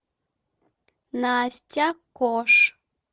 настя кош